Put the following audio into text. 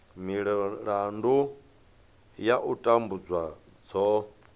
milandu ya u tambudzwa dzo